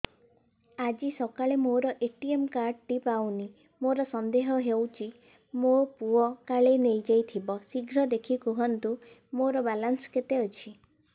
ଆଜି ସକାଳେ ମୋର ଏ.ଟି.ଏମ୍ କାର୍ଡ ଟି ପାଉନି ମୋର ସନ୍ଦେହ ହଉଚି ମୋ ପୁଅ କାଳେ ନେଇଯାଇଥିବ ଶୀଘ୍ର ଦେଖି କୁହନ୍ତୁ ମୋର ବାଲାନ୍ସ କେତେ ଅଛି